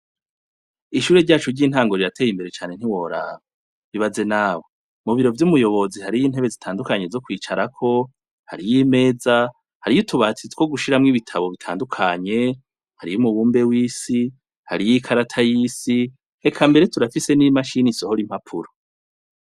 Ishuri ryacu ry'intango rirateye imbere cane ntiworaba ibaze nawe mu biro vyumuyobozi hariyo intebe zitandukanye zo kwicarako hariyo imeza hariyo utubati two gushiramwo ibitabo bitandukanye hariyo umubumbe w'isi hariyo ikarata yisi eka mbere turafise n'imashini isohora impapuro.